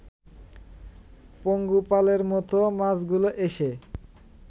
পঙ্গপালের মতো মাছগুলো এসে